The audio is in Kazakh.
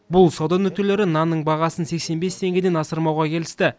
бұл сауда нүктелері нанның бағасын сексен бес теңгеден асырмауға келісті